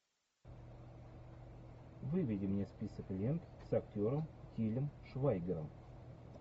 выведи мне список лент с актером тилем швайгером